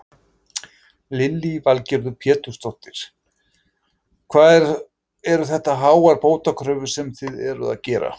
Lillý Valgerður Pétursdóttir: Hvað eru þetta háar bótakröfur sem þið eruð að gera?